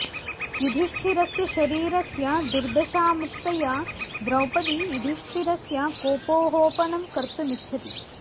गुधिष्ठिरस्य शरीरस्य दुर्दशामुक्तया द्रौपदी युधिष्ठिरस्य कोपोहो पनं कर्तुमिच्छति